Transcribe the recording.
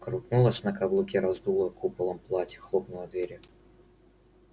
крутнулась на каблуке раздула куполом платье хлопнула дверью